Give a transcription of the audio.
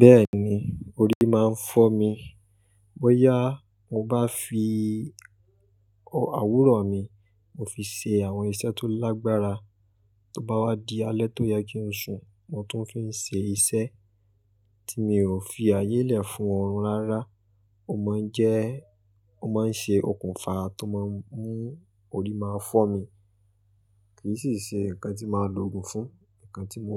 Bẹ́ẹ̀ni, orí máa ń fọ́ mi. Bọ́yá mo bá fi àwòrán mi, mo fi ṣe àwọn iṣẹ́ tó lágbára. Tí ó bá wá di alẹ́ tó yẹ kí n sùn, mo tún fi ṣe iṣẹ́ tí mi ò fi ayé lẹ̀ fún ọ̀run rárá. Ó máa ń jẹ́, ó máa ń ṣe okùnfà tó máa ń mú orí máa fọ́ mi. Kì í sì ṣe nǹkan tí màá lo ògùn fún, nǹkan tí mo